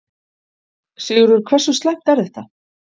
Sigurður, hversu slæmt er þetta?